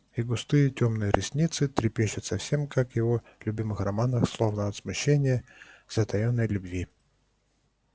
и густые тёмные ресницы трепещут совсем как в его любимых романах словно от смущения и затаённой любви